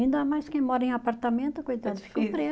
Ainda mais quem mora em apartamento, coitado